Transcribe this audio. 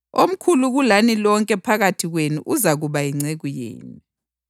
Omkhulu kulani lonke phakathi kwenu uzakuba yinceku yenu.